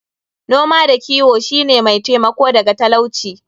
Noma da kiwo shi ne mai taimako daga talauci.